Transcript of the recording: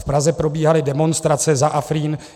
V Praze probíhaly demonstrace za Afrín.